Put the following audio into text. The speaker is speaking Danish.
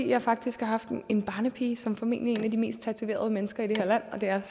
jeg faktisk har haft en barnepige som formentlig de mest tatoverede mennesker i det her land og det er